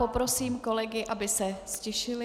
Poprosím kolegy, aby se ztišili.